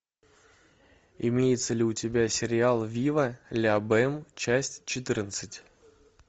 имеется ли у тебя сериал вива ля бэм часть четырнадцать